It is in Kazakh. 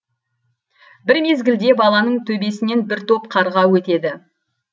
бір мезгілде баланың төбесінен бір топ қарға өтеді